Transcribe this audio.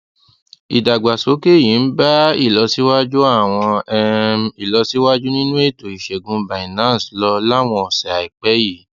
ìdàgbàsókè yìí ń bá ìlọsíwájú àwọn um ìlọsíwájú nínú ètò ìṣègùn binance lọ láwọn òsè àìpẹ yìí